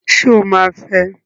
Sọ ma fẹ?